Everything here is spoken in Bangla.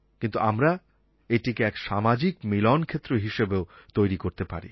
কিন্তু আমরা এটিকে এক সামাজিক মিলনক্ষেত্র হিসেবেও তৈরি করতে পারি